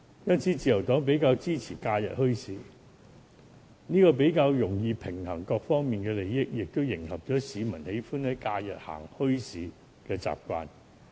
因此，自由黨比較支持假日墟市，因為比較容易平衡各方面的利益，也配合市民喜歡在假日逛墟市的習慣。